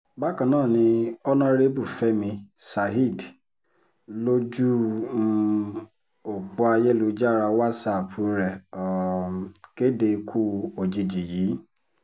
bákan náà ni ọ̀nàrẹ́bù fẹmi saheed lójú um ọ̀pọ̀ ayélujára wàsáàpù rẹ̀ um kéde ikú ikú òjijì yìí